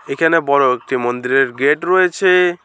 এখানে বড় একটি মন্দিরের গেট রয়েছে।